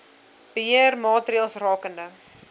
beheer maatreëls rakende